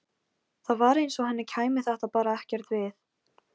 Það var eins og henni kæmi þetta bara ekkert við.